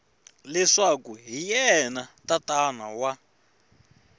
leswaku hi yena tatana wa